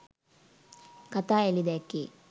කතා එලි දැක්කේ